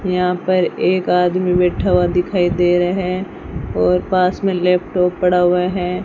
यहां पर एक आदमी बैठा हुआ दिखाई दे रहा है और पास में लैपटॉप पड़ा हुआ है।